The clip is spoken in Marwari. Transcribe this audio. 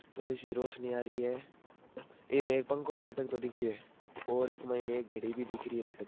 थोड़ी सी रोशनी आ रही है इमें एक पंखा भी लटकतो दिख रहियो है और इक मायने एक घडी भी दिख रही है लटकती।